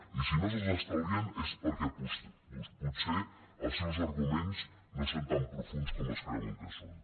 i si no se’ls estalvien és perquè potser els seus arguments no són tan profunds com es creuen que són